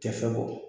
Tɛ fɛ bɔ